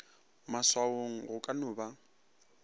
maswaong go ka no ba